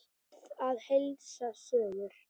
Bið að heilsa suður.